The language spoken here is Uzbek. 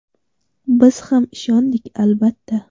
Biz ham ishondik, albatta.